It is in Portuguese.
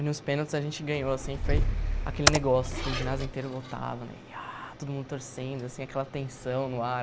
E nos pênaltis a gente ganhou assim, foi aquele negócio assim, o ginásio inteiro lotado né e ah, todo mundo torcendo assim, aquela tensão no ar.